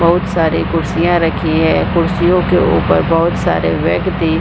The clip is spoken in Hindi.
बहुत सारे कुर्सियां रखी है कुर्सियों के ऊपर बहुत सारे व्यक्ति --